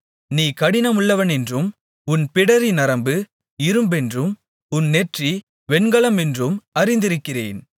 நீ கடினமுள்ளவனென்றும் உன் பிடரி நரம்பு இரும்பென்றும் உன் நெற்றி வெண்கலமென்றும் அறிந்திருக்கிறேன்